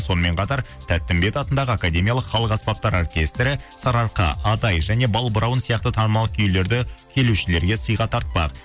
сонымен қатар тәттімбет атындағы академиялық халық аспаптар оркестрі сарыарқа адай және балбырауын сияқты танымал күйлерді келушілерге сыйға тартпақ